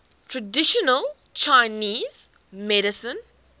traditional chinese medicine